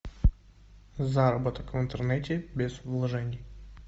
заработок в интернете без вложений